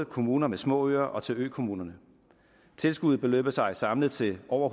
kommuner med små øer og til økommuner tilskuddet beløber sig samlet til over